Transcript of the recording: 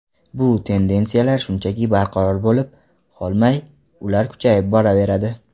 Bu tendensiyalar shunchaki barqaror bo‘lib qolmay, ular kuchayib boraveradi.